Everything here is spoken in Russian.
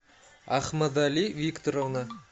ахмадали викторовна